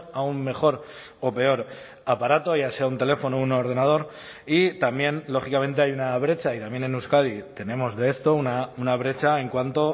a un mejor o peor aparato ya sea un teléfono un ordenador y también lógicamente hay una brecha y también en euskadi tenemos de esto una brecha en cuanto